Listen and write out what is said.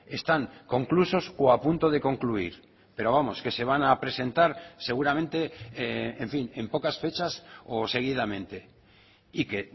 están conclusos o apunto de concluir pero vamos que se van a presentar seguramente en fin en pocas fechas o seguidamente y que